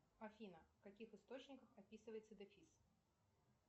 афина в каких источниках описывается дефис